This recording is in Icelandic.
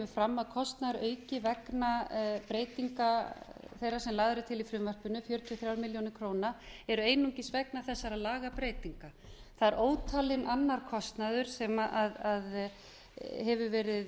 fram að kostnaðarauki vegna breytinga þeirra sem lagðar eru til í frumvarpinu sjötíu og þrjár milljónir króna eru einungis vegna þessara lagabreytinga það er ótalinn annar kostnaður sem talið hefur verið